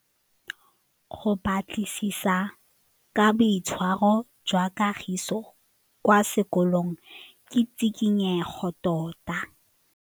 Go batlisisa ka boitshwaro jwa Kagiso kwa sekolong ke tshikinyêgô tota.